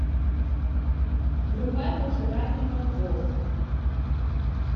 врубай пожиратель мозгов